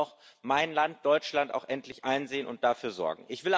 Das muss auch mein Land, Deutschland, endlich einsehen und dafür sorgen.